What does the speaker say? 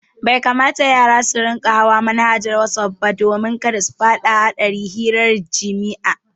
Bai kamata yara suna hawa manhajar wasaf ba don kada su fada cikin hadarin hirar jimi'a